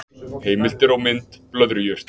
Heimildir og mynd Blöðrujurt.